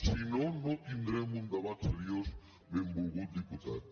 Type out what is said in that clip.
si no no tindrem un debat seriós benvolgut diputat